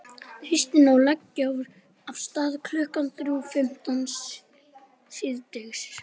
Umdeildasta atvik umferðarinnar: Rautt spjald á Guðmund Kristjánsson?